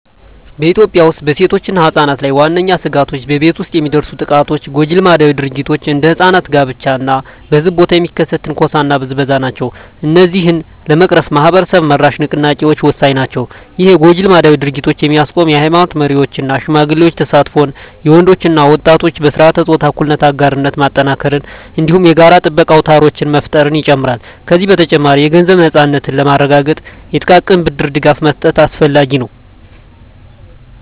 በኢትዮጵያ ውስጥ በሴቶችና ሕጻናት ላይ ዋነኛ ስጋቶች በቤት ውስጥ የሚደርሱ ጥቃቶች፣ ጎጂ ልማዳዊ ድርጊቶች (እንደ ሕጻናት ጋብቻ) እና በሕዝብ ቦታ የሚከሰት ትንኮሳና ብዝበዛ ናቸው። እነዚህን ለመቅረፍ ማኅበረሰብ-መራሽ ንቅናቄዎች ወሳኝ ናቸው። ይህም የጎጂ ልማዳዊ ድርጊቶችን የሚያስቆም የኃይማኖት መሪዎች እና ሽማግሌዎች ተሳትፎን፣ የወንዶች እና ወጣቶች በሥርዓተ-ፆታ እኩልነት አጋርነት ማጠናከርን፣ እንዲሁም የጋራ ጥበቃ አውታሮችን መፍጠርን ይጨምራል። ከዚህ በተጨማሪ፣ የገንዘብ ነፃነትን ለማረጋገጥ የጥቃቅን ብድር ድጋፍ መስጠት አስፈላጊ ነው።